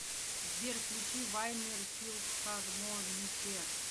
сбер включи вайнер филхармоникер